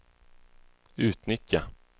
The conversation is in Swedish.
utnyttja